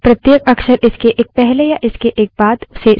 streams तक file io techniques का उपयोग करके पहुंचा जाता हैं